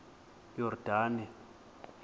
yordane